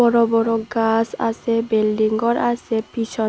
বড় বড় গাস আসে বিল্ডিং করা আসে পিছন--